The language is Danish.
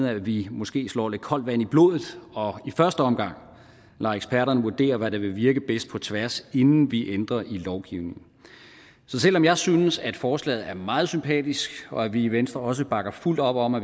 at vi måske slår lidt koldt vand i blodet og i første omgang lader eksperterne vurdere hvad der vil virke bedst på tværs inden vi ændrer i lovgivningen så selv om jeg synes at forslaget er meget sympatisk og at vi i venstre også bakker fuldt op om at